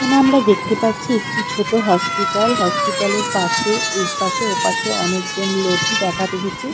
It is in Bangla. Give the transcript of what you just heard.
এখানে আমরা দেখতে পাচ্ছি একটি ছোট হসপিটাল হসপিটাল এর পাশে এইপাশে ও-পাশে অনেক জন লোকই দেখাতে এসেছে।